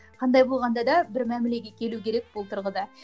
қандай болғанда да бір мәмлеге келу керек бұл тұрғыда